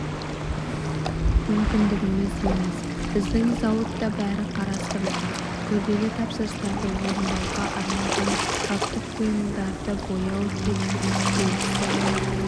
мүмкіндігіміз емес біздің зауытта бәрі қарастырылған күрделі тапсырыстарды орындауға арналған жабдық бұйымдарды бояу триплекс желісі